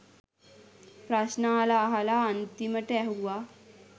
ප්‍රශ්න අහලා අහලා අන්තිමට ඇහුවා